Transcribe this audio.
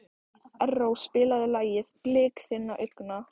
Erró, spilaðu lagið „Blik þinna augna“.